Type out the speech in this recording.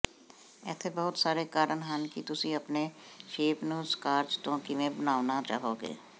ਇੱਥੇ ਬਹੁਤ ਸਾਰੇ ਕਾਰਨ ਹਨ ਕਿ ਤੁਸੀਂ ਆਪਣੇ ਸ਼ੈਂਪ ਨੂੰ ਸਕਾਰਚ ਤੋਂ ਕਿਵੇਂ ਬਣਾਉਣਾ ਚਾਹੋਗੇ